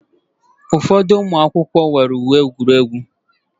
Ụfọdụ ụmụ akwụkwọ nwere uwe egwuregwu.